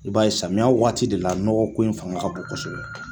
I b'a ye samiya waati de la nɔgɔko in fanga ka bon kosɛbɛ